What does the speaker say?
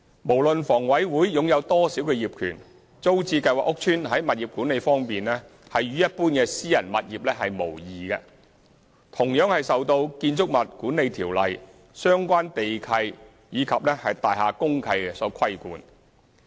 無論房委會擁有多少業權，租置計劃屋邨在物業管理方面與一般私人物業無異，同樣受《建築物管理條例》、相關地契及大廈公契所規管。